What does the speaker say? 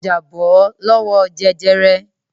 Ó jàjàbọ́ lọ́wọ́ jẹjẹrẹ.